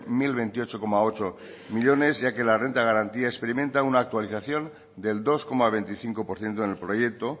mil veintiocho coma ocho millónes ya que la renta de garantía experimenta una actualización del dos coma veinticinco por ciento en el proyecto